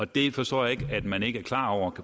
det forstår jeg ikke at man ikke er klar over